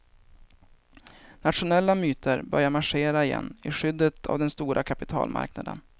Nationella myter börjar marschera igen i skyddet av den stora kapitalmarknaden.